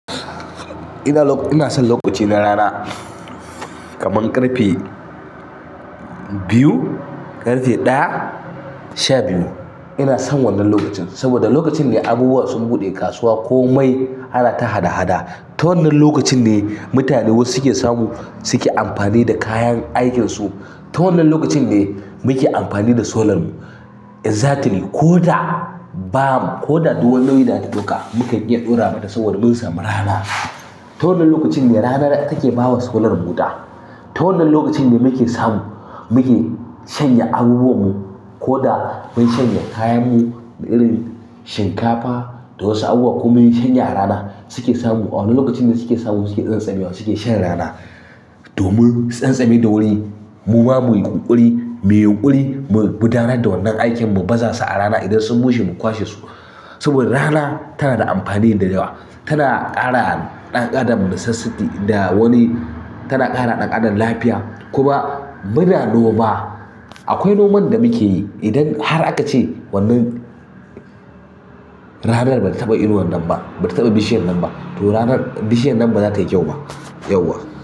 Ina son lokaci na rana kaman ƙarfe biyu, ƙarfe ɗaya sha biyu. Ina son wannan lokacin saboda lokacin ne abubuwa sun buɗe kasuwa ko mai ana ta hada-hada. Ta wannan lokacin ne mutane wasu suke samu suke amfani da kayan aikinsu. Ta wannan lokacin ne muke amfani da solar mu. Exactly ko da bam ko da dow wani nauyi da aka ɗauka mukan iya ɗora mata saboda mun samu rana. Ta wannan lokacin ne rana take bawa solar mu wuta. Ta wannan lokacin ne muke samu muke shanya abubuwan mu ko da mun shanya kayan mu irin shinkafa da wasu abubuwa kuma mun shanya a rana suke samu a wannan lokacin ne suke samu suke tsantsame wa suke shan rana. Domin su tsantsame da wuri muma muyi kunburi muyi yunkiri mu guda nar da wan nan aiki mu bazasu a rana idan sun bushe mu kwa she su saboda rana tana da amfani da yawa. Tana ƙara ɗan adam basesity da wani tana ƙara ɗan adam lafiya kuma muna noma. Akwai noman da mukeyi idan har akace wannan ranan bata taɓa inuwan nan ba, bata yaba bishi yan nan ba to ranan bishiyan nan ba za tayi kwauba.